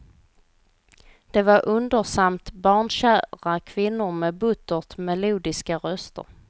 Det var undersamt barnkära kvinnor med buttert melodiska röster.